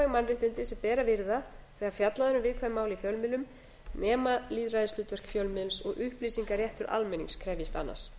mannréttindi sem ber að virða þegar fjallað er um viðkvæm mál í fjölmiðlum nema lýðræðishlutverk fjölmiðils og upplýsingaréttur almennings krefjist annars